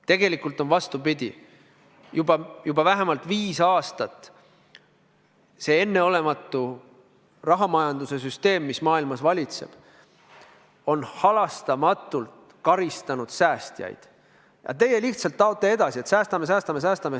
Tegelikult on vastupidi: juba vähemalt viis aastat on enneolematu rahamajanduse süsteem, mis maailmas valitseb, halastamatult karistanud säästjaid, aga teie lihtsalt taote edasi, et säästame-säästame-säästame.